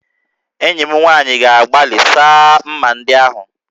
Enyi m nwaanyị ga-agbalị saa m̀mà ndị ahụ